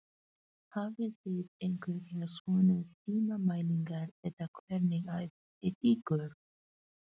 Hafið þið einhverjar svona tímamælingar eða hvernig æfið þið ykkur?